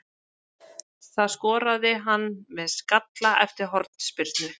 Það skoraði hann með skalla eftir hornspyrnu.